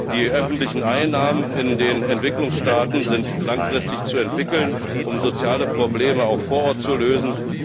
Die öffentlichen Einnahmen in den Entwicklungsstaaten sind langfristig zu entwickeln, um soziale Probleme auch vor Ort zu lösen.